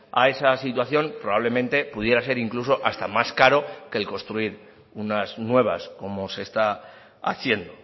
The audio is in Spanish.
a esa situación probablemente pudiera ser incluso hasta más caro que el construir unas nuevas como se está haciendo